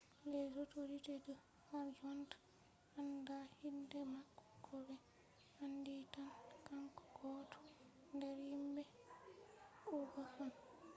harjonta authorities andaa inde mako ko be andi tan kanko gooto nder himbe uigher on